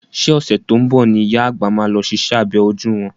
Ṣé ọ̀sẹ̀ tó ń bọ̀ ni ìyá àgbà máa lọ ṣiṣẹ́ abẹ ojú wọn.